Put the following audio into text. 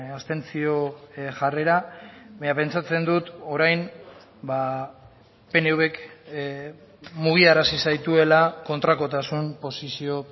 abstentzio jarrera baina pentsatzen dut orain pnvk mugiarazi zaituela kontrakotasun posizio